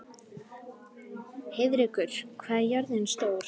Heiðrekur, hvað er jörðin stór?